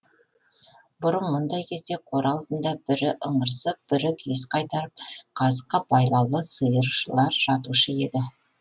бұрын мұндай кезде қора алдында бірі ыңырсып бірі күйіс қайтарып қазыққа байлаулы сиырлар жатушы еді